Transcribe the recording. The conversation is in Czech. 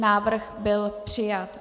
Návrh byl přijat.